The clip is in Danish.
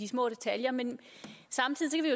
små detaljer men samtidig